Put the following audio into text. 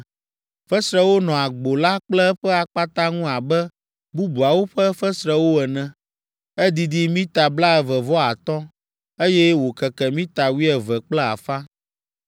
Fesrewo nɔ agbo la kple eƒe akpata ŋu abe bubuawo ƒe fesrewo ene. Edidi mita blaeve vɔ atɔ̃, eye wòkeke mita wuieve kple afã.